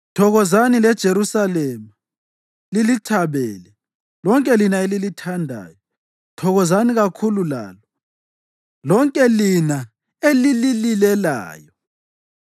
“Thokozani leJerusalema lilithabele, lonke lina elilithandayo; thokozani kakhulu lalo lonke lina elilililelayo.